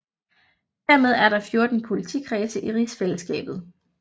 Dermed er der 14 politikredse i Rigsfællesskabet